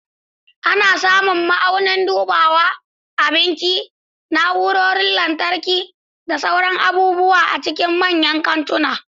Ana samun ma'aunin dubawa, abinci, na'urorin lantarki, da sauran abubuwa a cikin manyan kantuna.